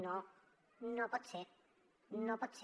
no no pot ser no pot ser